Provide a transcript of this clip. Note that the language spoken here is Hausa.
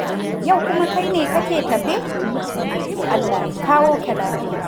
Yau kuma kai ne kake tafe? To Allah ya kawo ka lafiya.